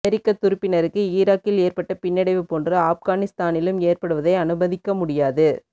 அமெரிக்க துருப்பினருக்கு ஈராக்கில் ஏற்பட்ட பின்னடைவு போன்று ஆப்கானிஸ்தானிலும் ஏற்படுவதை அனுமதிக்க முடியாது